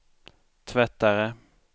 tvättare